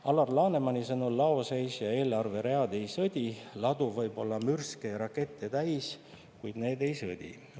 Alar Lanemani sõnul laoseis ja eelarveread ei sõdi, ladu võib olla mürske ja rakette täis, kuid need ei sõdi.